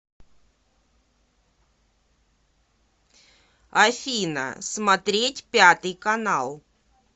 афина смотреть пятый канал